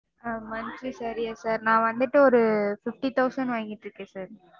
ஆஹ் monthly salary யா sir நா வந்துட்டு ஒரு fifty thousand வாங்கிட்டிருக்கேன் sir.